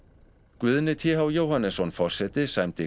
Guðni t h Jóhannesson forseti sæmdi